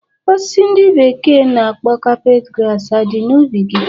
Osisi ndi bekee na-akpọ carpet grass adi na ubi gi?